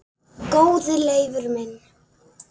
Góði Leifur minn